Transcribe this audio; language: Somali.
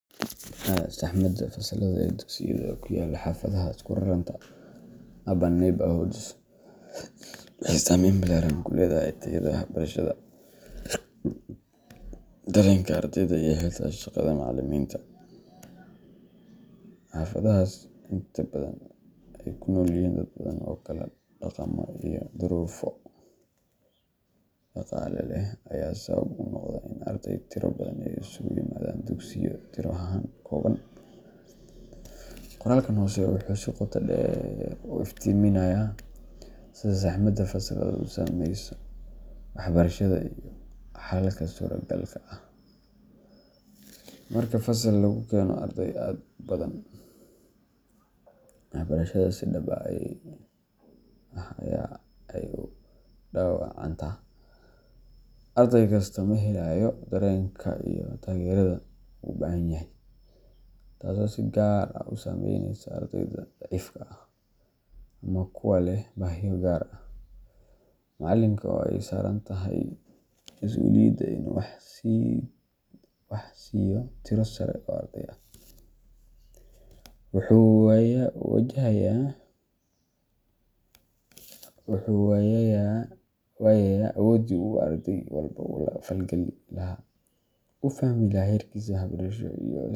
Saxmadda fasallada ee dugsiyada ku yaalla xaafadaha isku raranta urban neighborhoods waxay saameyn ballaaran ku leedahay tayada waxbarashada, dareenka ardayda, iyo xitaa shaqada macallimiinta. Xaafadahaas oo inta badan ay ku nool yihiin dad badan oo kala dhaqamo iyo duruufo dhaqaale leh ayaa sabab u noqda in arday tiro badan ay isugu yimaadaan dugsiyo tiro ahaan kooban. Qoraalkan hoose wuxuu si qoto dheer u iftiiminayaa sida saxmadda fasalladu u saameyso waxbarashada iyo xalalka suuragalka ah. Marka fasal lagu keeno arday aad u badan, waxbarashada si dhab ah ayaa ay u dhaawacantaa. Arday kastaa ma helayo dareenka iyo taageerada uu u baahan yahay, taasoo si gaar ah u saameyneysa ardayda daciifka ah ama kuwa leh baahiyo gaar ah. Macallinka oo ay saaran tahay masuuliyadda inuu wax siiyo tiro sare oo arday ah, wuxuu waayayaa awooddii uu arday walba ula falgali lahaa, u fahmi lahaa heerkiisa waxbarasho, iyo.